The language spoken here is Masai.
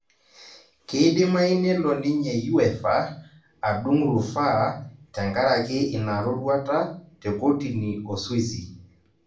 Keidimayu nelo ninye uefa adung' rufaa tenkaraki inaroruata tekotini oswizi